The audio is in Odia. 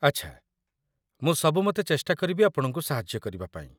ଆଚ୍ଛା, ମୁଁ ସବୁମତେ ଚେଷ୍ଟା କରିବି ଆପଣଙ୍କୁ ସାହାଯ୍ୟ କରିବା ପାଇଁ